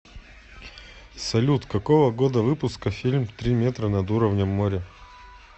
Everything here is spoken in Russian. салют какого года выпуска фильм три метра над уровнем моря